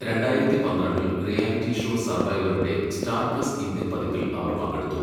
രണ്ടായിരത്തി പന്ത്രണ്ടിൽ , reality show സർവൈവറിന്റെ സ്റ്റാർ പ്ലസ് ഇന്ത്യൻ പതിപ്പിൽ അവർ പങ്കെടുത്തു.